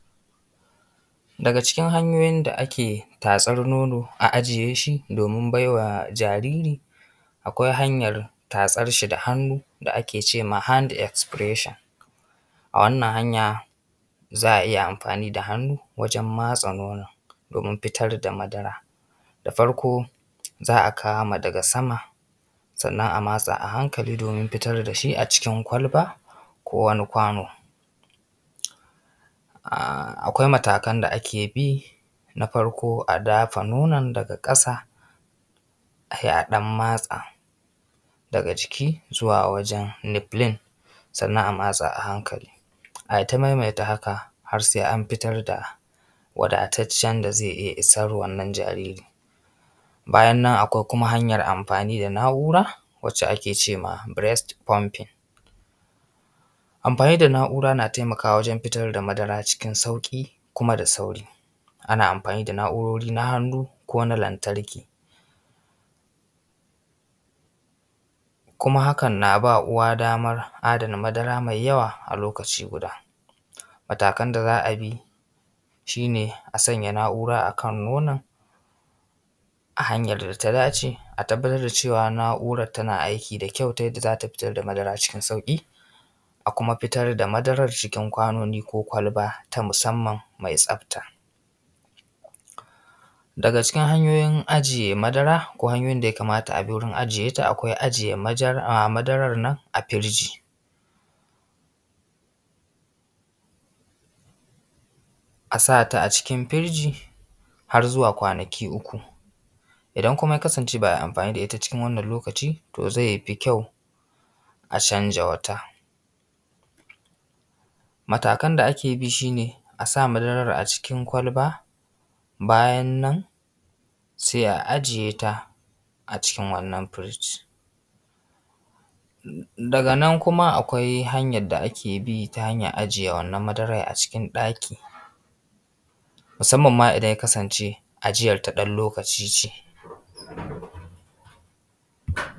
Daga cikin hanyoyin da ake tatsar nono a ajiye shi domin baiwa jariri, akwai hanyan tatsar shi da hannu da ake ce ma hand expression. A wannan hanya za a iya amfani da hannu wajan matsa nonon domin fitar da madara. Da farko za a kama daga sama, sannan a matsa a hankali domin a fitar da shi a cikin kwalba, ko wani kwano. Akwai matakan da ake bi. Na farko a dafa nonon daga ƙasa a yi a ɗan matsa daga ciki zuwa wajan nipple sannan a matsa a hankali, ai ta maimaita haka har sai an fitar da wadataccen da zai iya isan wannan jariri. Bayan nan kuma akwai kuma hanya amfani da na’ura wadda ake cema breast pumping. Amfani da na’ura na taimakawa wajen fitar da madara cikin sauƙi, kuma da sauri. Ana amfani da na’urori na hannu, ko na lantarki. Kuma hakan na ba uwa daman adana madara mai yawa a lokaci guda. Matakan da za a bi shi ne a sanya na’ura a kan nonon a hanyar da ta dace. A tabbatar da cewa na’urar tana aiki da kyau ta yadda za ta fitar da madara cikin sauƙi. a kuma fitar da madaran cikin kwanoni ko kwalba ta musamman mai tsafta. Daga cikin hanyoyin ajiye madara ko hanyoyin da ya kamata a bi wurin ajiye ta., akwai ajiye madaran nan afiriji a sata a cikin firiji har zuwa kwanaki uku. Idan kuma ya kasance ba ai amfani da ita cikin wannan lokaci to zai fi kyau a canza wata. Matakan da ake bi shi ne a sa madaran a cikin kwalba, bayan nan sai a ajiyeta a cikin wannan firiji, daga nan kuma akwai hanyar da ake bi ta hanyar ajiye wannan madarar a cikin ɗaki musamman idan ma yakasance ajiyan ta dan lokaci ce.